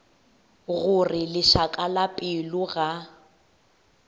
gore lešaka la pelo ga